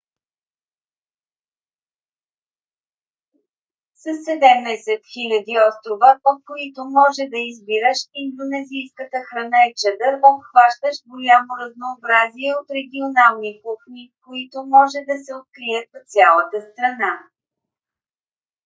със 17 000 острова от които може да избираш индонезийската храна е чадър обхващащ голямо разнообразие от регионални кухни които може да се открият в цялата страна